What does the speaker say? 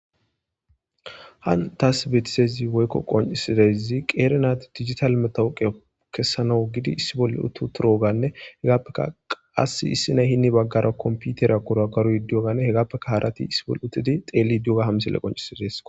han taas beetisezi woykko qoncisidezi qeere naat digital metawuqe kessana gidi issi bolle uttu turoganne hegaappeka qass issinay hinni baggara komputera kora karoy diyoganne hegappeka harati issi bolle uttidi xeeli dioga hamsele qoncisi des